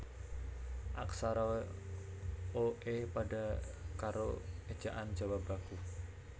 Aksara o e pada karo Ejaan Jawa Baku